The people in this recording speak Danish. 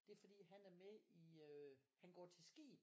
Det fordi han er med i øh han går til skib